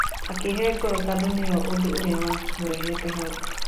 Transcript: Akĩhe ngoro tondũ nĩoĩ ũndũ ũrĩa wa mũrehete hau.